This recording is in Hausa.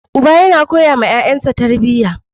Uba yana koyawa yayansa tarbiya.